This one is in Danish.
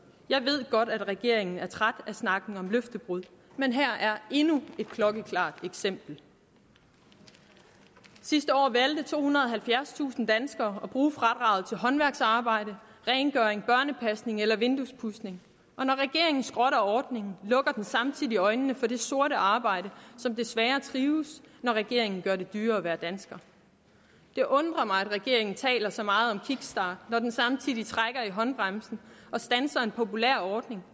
jeg ved godt at regeringen er trætte af snakken om løftebrud men her er endnu et klokkeklart eksempel sidste år valgte tohundrede og halvfjerdstusind danskere at bruge fradraget til håndværksarbejde rengøring børnepasning eller vinduespudsning og når regeringen skrotter ordningen lukker den samtidig øjnene for det sorte arbejde som desværre trives når regeringen gør det dyrere at være dansker det undrer mig at regeringen taler så meget om kickstart når den samtidig trækker i håndbremsen og standser en populær ordning